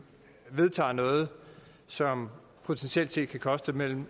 vedtager noget som potentielt set kan koste mellem